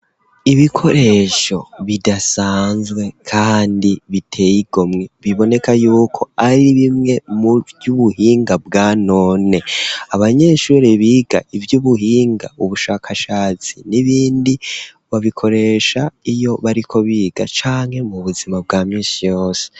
Ibikoresho bidasanzwe kandi biteye igomwe biboneka yuko ari bimwe mu vy'ubuhinga bwanone, abanyeshuri biga ivy'ubuhinga ubushakashatsi n'ibindi babikoresha iyo bariko biga canke mu buzima bwa misi yose.